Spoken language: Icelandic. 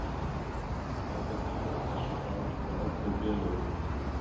Staðfestingar á þessu bárust frá öllum félögunum.